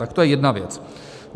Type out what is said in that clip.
Tak to je jedna věc.